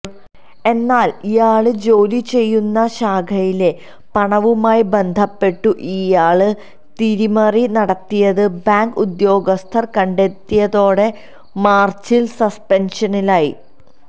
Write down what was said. എന്നാല് ഇയാള് ജോലിചെയ്യുന്ന ശാഖയിലെ പണവുമായി ബന്ധപെട്ടു ഇയാള് തിരിമറി നടത്തിയത് ബാങ്ക് ഉദ്യോഗസ്ഥര് കണ്ടെത്തിയതോടെ മാര്ച്ചില് സസ്പെന്ഷനിലായി